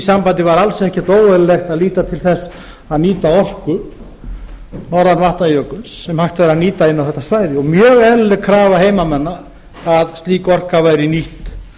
sambandi var alls ekkert óeðlilegt að líta til þess að nýta orku norðan vatnajökuls sem hægt væri að nýta inn á þetta svæði og mjög eðlileg krafa heimamanna að slík orka væri nýtt